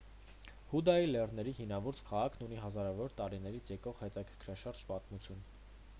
հուդայի լեռների հինավուրց քաղաքն ունի հազարավոր տարիներից եկող հետաքրքրաշարժ պատմություն